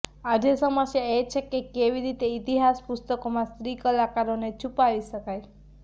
આજે સમસ્યા એ છે કે કેવી રીતે ઇતિહાસ પુસ્તકોમાં સ્ત્રી કલાકારોને છુપાવી શકાય